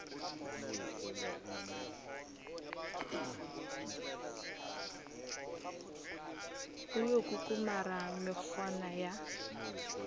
o yo kukumara mekgona ya